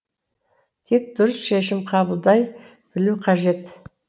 тек дұрыс шешім қабылдай білу қажет